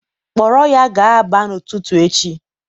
Kpọrọ ya gaa Aba n'ụtụtụ echi.